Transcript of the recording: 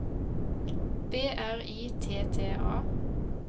B R I T T A